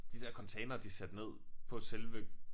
De der containere de satte ned på selve